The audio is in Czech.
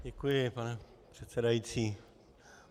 Děkuji, pane předsedající.